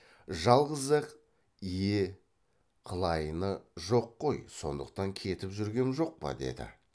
жалғыз ақ ие қылайыны жоқ қой сондықтан кетіп жүргем жоқ па деді